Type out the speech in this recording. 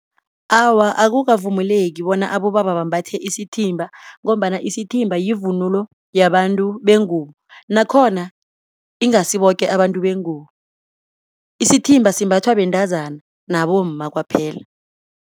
Awa, akukavumeleki bona abobaba bambathe isithimba ngombana isithimba yivunulo yabantu bengubo nakhona ingasi boke abantu bengubo. Isithimba simbathwa bentazana nabomma kwaphela.